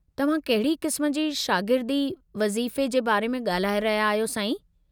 तव्हां कहिड़ी क़िस्मु जे शागिर्दी वज़ीफ़े जे बारे में ॻाल्हाए रहिया आहियो, साईं?